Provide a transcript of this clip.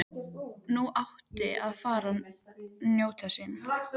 Nú átti hárið að fá að njóta sín.